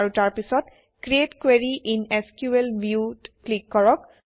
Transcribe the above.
আৰু তাৰপিছত create query in SQL View অত ক্লিক কৰক